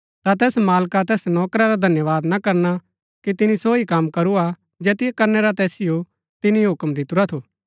ता तैस मालिक तैस नौकरा रा धन्यवाद ना करना कि तिनी सो ही कम करू हा जैतियो करनै रा तैसिओ तिनी हुक्म दितुरा थू